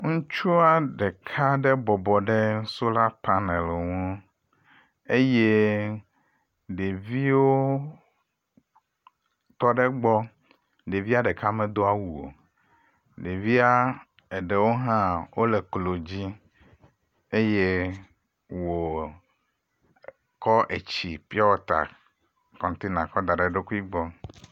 Ŋutsua ɖeka aɖe bɔbɔ ɖe solar panel ŋu eye ɖeviwo tɔ ɖe egbɔ. Ɖevia ɖeka medo awu o. Ɖevia eɖewo hã wole eklo dzi eye wòo kkɔ etsi pure water container kɔ da ɖe eɖokui gbɔ.